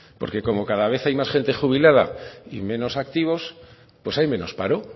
porque como cada vez hay más gente jubilada y menos activos pues hay menos paro